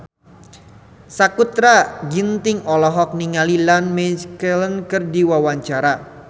Sakutra Ginting olohok ningali Ian McKellen keur diwawancara